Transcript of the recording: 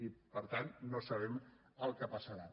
i per tant no sabem el que passarà